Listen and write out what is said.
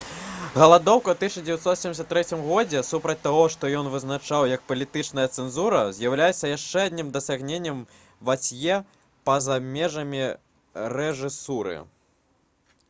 галадоўка ў 1973 годзе супраць таго што ён вызначаў як палітычная цэнзура з'яўляецца яшчэ адным дасягненнем вацье па-за межамі рэжысуры